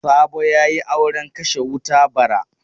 Sabo ya yi auren kashe wuta bara.